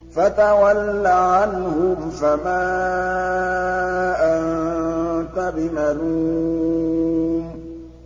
فَتَوَلَّ عَنْهُمْ فَمَا أَنتَ بِمَلُومٍ